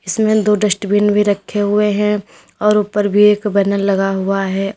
इसमें दो डस्टबिन भी रखे हुए हैं और ऊपर भी एक बैनर लगा हुआ है औ--